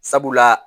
Sabula